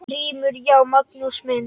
GRÍMUR: Já, Magnús minn!